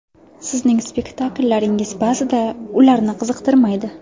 Sizning spektakllaringiz ba’zida ularni qiziqtirmaydi.